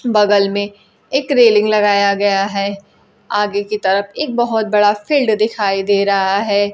बगल में एक रेलिंग लगाया गया है आगे की तरफ एक बहोत बड़ा फील्ड दिखाई दे रहा है।